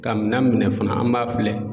Ka minan minɛ fana an b'a filɛ.